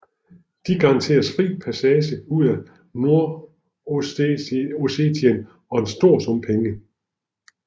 De garanteres fri passage ud af Nordossetien og en stor sum penge